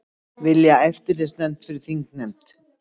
Vilja eftirlitsnefnd fyrir þingnefnd